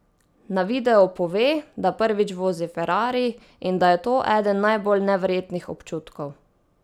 Na videu pove, da prvič vozi ferrari in da je to eden najbolj neverjetnih občutkov.